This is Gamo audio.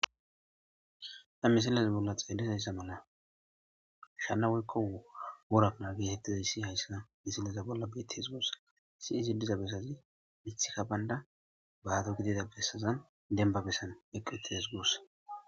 Ha misiley xelizaysa mala shana woykon wora kana getetizaysi haysa gusako diza bottazi mithiyika byna bado gidida besaza demban besaza eqi uttides gusa.